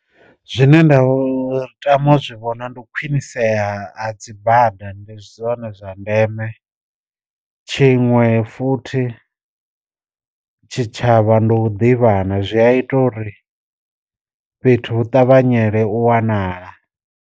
Zwine nda tama zwi vhona ndi khwinisea ha ha dzi bada ndi zwone zwa ndeme, tshiṅwe futhi tshi tshavha ndi u ḓivhana zwi a ita uri fhethu hu ṱavhanyele u wanala.